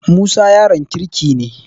Musa yaron kirki ne.